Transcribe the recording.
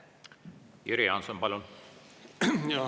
Jüri Jaanson, palun!